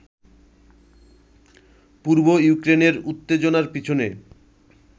পূর্ব ইউক্রেনের উত্তেজনার পেছনে